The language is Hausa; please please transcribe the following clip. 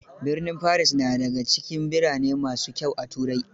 Birnin Paris na da ga cikin birane ma su kyau a Turai.